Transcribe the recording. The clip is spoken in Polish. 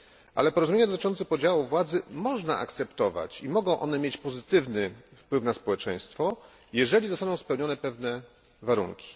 Ale porozumienia dotyczące podziału władzy można akceptować i mogą one mieć pozytywny wpływ na społeczeństwo, jeżeli zostaną spełnione pewne warunki.